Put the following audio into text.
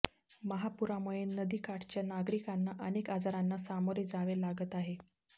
महापुरामुळे नदीकाठच्या नागरिकांना अनेक आजारांना सामोरे जावे लागत आहे